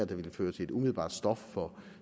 der ville føre til et umiddelbart stop for